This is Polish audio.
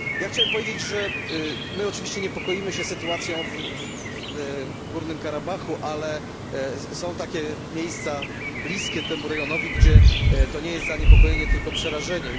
Chciałem powiedzieć, że my oczywiście niepokoimy się sytuacją w Górnym Karabachu, ale są takie miejsca bliskie temu rejonowi, gdzie odczuwane jest nie tylko zaniepokojenie, ale przerażenie.